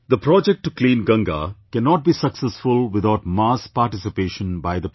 The project to clean Ganga cannot be successful without mass participation by the people